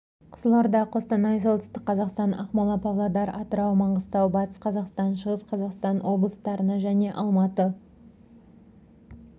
қызылорда қостанай солтүстік қазақстан ақмола павлодар атырау маңғыстау батыс қазақстан шығыс қазақстан облыстарына және алматы